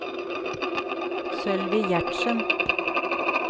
Sølvi Gjertsen